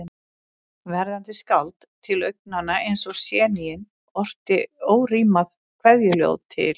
Verðandi skáld, til augnanna eins og séníin, orti órímað kveðjuljóð til